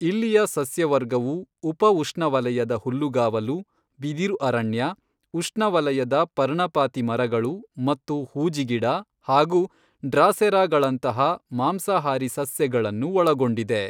ಇಲ್ಲಿಯ ಸಸ್ಯವರ್ಗವು ಉಪಉಷ್ಣವಲಯದ ಹುಲ್ಲುಗಾವಲು, ಬಿದಿರು ಅರಣ್ಯ, ಉಷ್ಣವಲಯದ ಪರ್ಣಪಾತಿ ಮರಗಳು ಮತ್ತು ಹೂಜಿಗಿಡ ಹಾಗೂ ಡ್ರಾಸೆರಾಗಳಂತಹ ಮಾಂಸಾಹಾರಿ ಸಸ್ಯಗಳನ್ನು ಒಳಗೊಂಡಿದೆ.